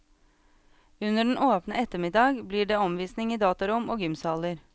Under den åpne ettermiddag blir det omvisning i datarom og gymsaler.